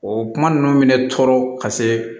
O kuma ninnu bɛ ne tɔɔrɔ ka se